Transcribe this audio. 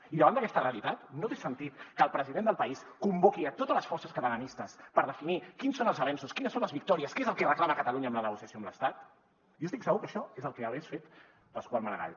i davant d’aquesta realitat no té sentit que el president del país convoqui totes les forces catalanistes per definir quins són els avenços quines són les victòries que és el que reclama catalunya en la negociació amb l’estat jo estic segur que això és el que hagués fet pasqual maragall